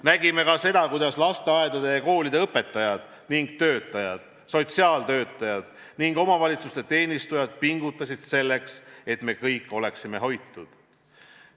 Nägime ka seda, kuidas lasteaedade ja koolide õpetajad ning töötajad, sotsiaaltöötajad ning omavalitsuste teenistujad pingutasid selleks, et me kõik oleksime hoitud.